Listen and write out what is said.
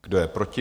Kdo je proti?